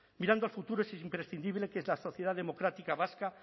mirando al futuro es imprescindible que la sociedad democrática vasca